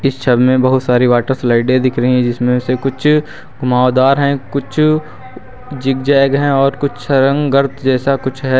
इस छवि में बहुत सारी वाटर स्लाइडें दिख रही हैं जिसमें से कुछ घुमावदार है कुछ जिग-जैग हैं और कुछ सारंग गर्त जैसा है।